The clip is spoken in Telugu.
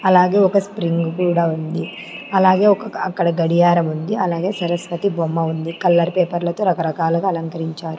అలాగే ఒక స్ప్రింగు కూడా ఉంది అలాగే ఒక అక్కడ గడియారముంది అలాగే సరస్వతి బొమ్మ ఉంది కలర్ పేపర్లతో రకరకాలుగా అలంకరించారు.